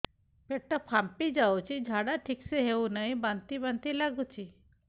ପେଟ ଫାମ୍ପି ଯାଉଛି ଝାଡା ଠିକ ସେ ହଉନାହିଁ ବାନ୍ତି ବାନ୍ତି ଲଗୁଛି